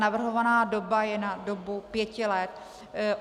Navrhovaná doba je na dobu pěti let.